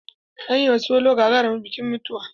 An yi ma solo gagarumin bikin mutuwa.